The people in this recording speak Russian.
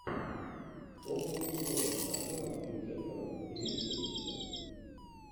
около футбола с актером хью джекманом имеется ли у тебя